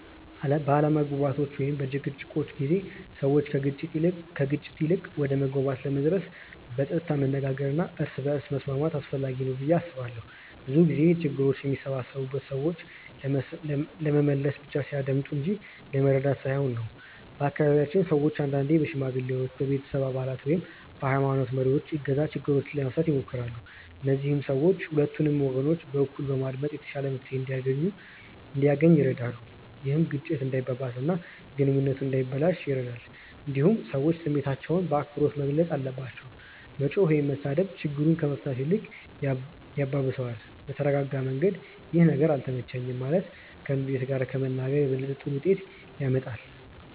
በአለመግባባቶች ወይም በጭቅጭቆች ጊዜ ሰዎች ከግጭት ይልቅ ወደ መግባባት ለመድረስ በጸጥታ መነጋገር እና እርስ በርስ መስማት አስፈላጊ ነው ብዬ አስባለሁ። ብዙ ጊዜ ችግሮች የሚባባሱት ሰዎች ለመመለስ ብቻ ሲያዳምጡ እንጂ ለመረዳት ሳይሆን ነው። በአካባቢያችን ሰዎች አንዳንዴ በሽማግሌዎች፣ በቤተሰብ አባላት ወይም በሀይማኖት መሪዎች እገዛ ችግሮችን ለመፍታት ይሞክራሉ። እነዚህ ሰዎች ሁለቱንም ወገኖች በእኩል በማዳመጥ የተሻለ መፍትሄ እንዲገኝ ይረዳሉ። ይህ ግጭቱ እንዳይባባስ እና ግንኙነቱ እንዳይበላሽ ይረዳል። እንዲሁም ሰዎች ስሜታቸውን በአክብሮት መግለጽ አለባቸው። መጮህ ወይም መሳደብ ችግሩን ከመፍታት ይልቅ ያባብሰዋል። በተረጋጋ መንገድ “ይህ ነገር አልተመቸኝም” ማለት ከንዴት ጋር ከመናገር የበለጠ ጥሩ ውጤት ያመጣል።